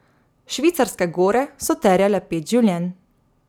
Švicarske gore so terjale pet življenj.